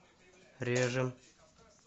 режем